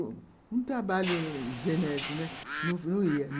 um trabalho, não ia.